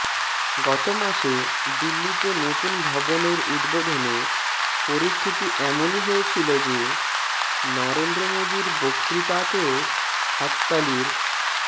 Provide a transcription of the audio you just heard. গত মাসে দিল্লিতে নতুন ভবনের উদ্বোধনে পরিস্থিতি এমনই হয়েছিল যে নরেন্দ্র মোদীর বক্তৃতাতেও হাততালির